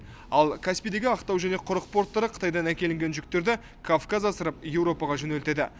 ал каспийдегі ақтау және құрық порттары қытайдан әкелінген жүктерді кавказ асырып еуропаға жөнелтеді